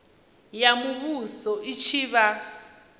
ya muvhuso i tshi vha